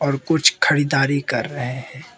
और कुछ खरीदारी कर रहे हैं।